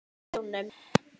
Þau lentu í sjónum.